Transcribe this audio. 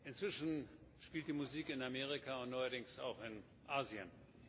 Inzwischen spielt die Musik in Amerika und neuerdings auch in Asien.